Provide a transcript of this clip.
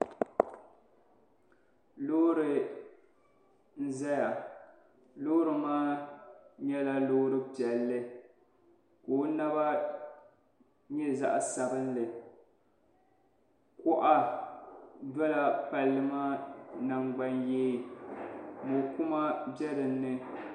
Loori n-zaya loori maa nyɛla loori piɛlli ka o naba nyɛ zaɣ'sabinli kuɣa dola palli maa nangbanyee mɔkuma be dini ni.